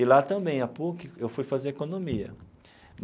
E lá também, a PUC, eu fui fazer economia.